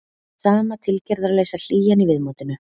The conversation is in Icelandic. Sama tilgerðarlausa hlýjan í viðmótinu.